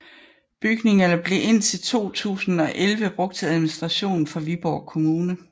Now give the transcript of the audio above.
Bygningerne blev indtil 2011 brugt til administration for Viborg Kommune